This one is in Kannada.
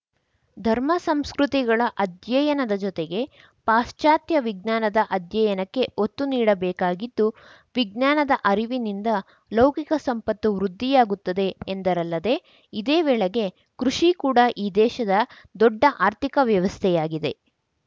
ಧರ್ಮ ಸಂಸ್ಕೃತಿಗಳ ಅಧ್ಯಯನದ ಜೊತೆಗೆ ಪಾಶ್ಚಾತ್ಯ ವಿಜ್ಞಾನದ ಅಧ್ಯಯನಕ್ಕೆ ಒತ್ತು ನೀಡ ಬೇಕಾಗಿದ್ದು ವಿಜ್ಞಾನದ ಅರಿವಿನಿಂದ ಲೌಕಿಕ ಸಂಪತ್ತು ವೃದ್ಧಿಯಾಗುತ್ತದೆ ಎಂದರಲ್ಲದೆ ಇದೇ ವೇಳೆಗೆ ಕೃಷಿ ಕೂಡ ಈ ದೇಶದ ದೊಡ್ಡ ಆರ್ಥಿಕ ವ್ಯವಸ್ಥೆಯಾಗಿದೆ